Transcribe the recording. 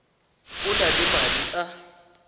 o na le madi a